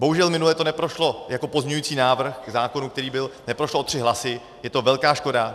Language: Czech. Bohužel minule to neprošlo jako pozměňující návrh k zákonu, který byl - neprošlo o tři hlasy, je to velká škoda.